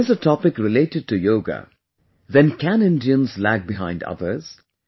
If there is a topic related to yoga, then can Indians lag behind others